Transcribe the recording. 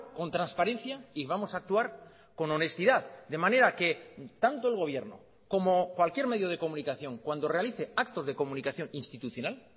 con transparencia y vamos a actuar con honestidad de manera que tanto el gobierno como cualquier medio de comunicación cuando realice actos de comunicación institucional